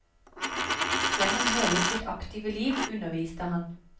Gjennom hele sitt aktive liv underviste han.